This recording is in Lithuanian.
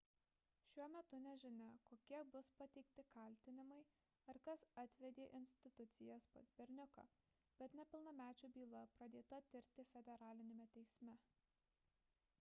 šiuo metu nežinoma kokie bus pateikti kaltinimai ar kas atvedė institucijas pas berniuką bet nepilnamečių byla pradėta tirti federaliniame teisme